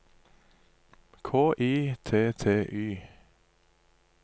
K I T T Y